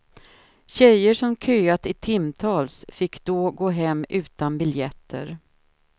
Tjejer som köat i timtals fick då gå hem utan biljetter.